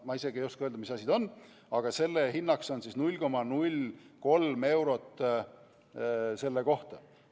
Ma ei oska isegi öelda, mis asi see on, aga hinnaks on siin märgitud 0,03 eurot selle kohta.